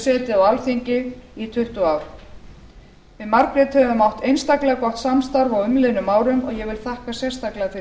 setið á alþingi í tuttugu ár við margrét höfum átt einstaklega gott samstarf á umliðnum árum og ég vil þakka sérstaklega